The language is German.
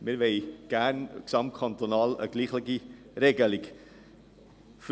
Also: Wir wollen gerne gesamtkantonal eine gleiche Regelung haben.